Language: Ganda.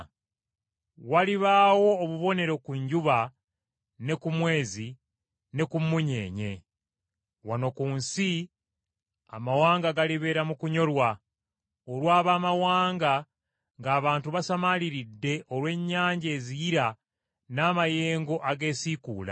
“Walibaawo obubonero ku njuba, ne ku mwezi, ne ku mmunyeenye. Wano ku nsi amawanga galibeera mu kunyolwa, olw’ab’amawanga, ng’abantu basamaaliridde olw’ennyanja eziyira n’amayengo ageesiikuula.